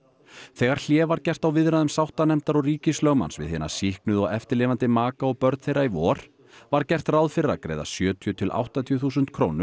þegar hlé var gert á viðræðum sáttanefndar og ríkislögmanns við hina sýknuðu og eftirlifandi maka og börn þeirra í vor var gert ráð fyrir að greiða sjötíu til áttatíu þúsund krónur